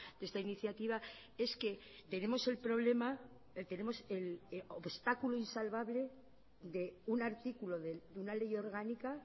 de esta iniciativa es que tenemos el problema tenemos el obstáculo insalvable de un artículo de una ley orgánica